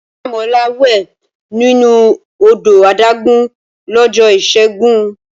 Oyindamola wẹ̀ nínú odò adágún lọ́jọ́ Ìṣẹ́gun.